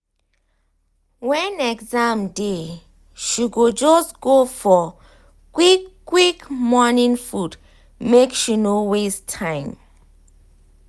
when exam dey she go just go for quick quick morning food make she no waste time.